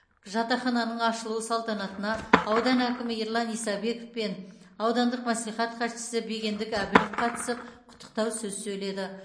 жатақхананың ашылуы салтанатына аудан әкімі ерлан исабеков пен аудандық мәслихат хатшысы бегендік әбілов қатысып құттықтау сөз сөйледі